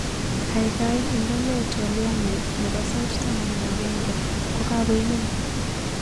Kaikai indenee twoliotnyu nebo sait taman ak agenge kokakoimen